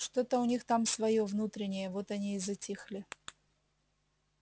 что-то у них там своё внутреннее вот они и затихли